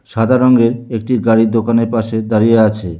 সাদা রঙ্গের একটি গাড়ি দোকানের পাশে দাঁড়িয়ে আছে।